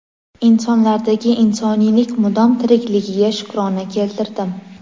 insonlardagi insoniylik mudom tirikligiga shukrona keltirdim.